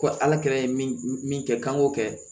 Ko ala ka min kɛ k'an k'o kɛ